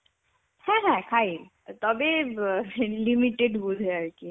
হ্যাঁ হ্যাঁ খাই তবে অ্যাঁ limited বুঝে আর কি.